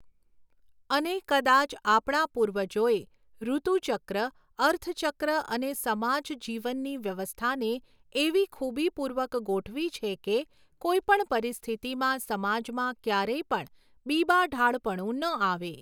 અને કદાચ આપણા પૂર્વજોએ ઋતુચક્ર, અર્થચક્ર અને સમાજજીવનની વ્યવસ્થાને એવી ખૂબીપૂર્વક ગોઠવી છે કે, કોઈપણ પરિસ્થિતિમાં સમાજમાં ક્યારેય પણ બીબાઢાળપણું ન આવે.